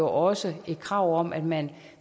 også et krav om at man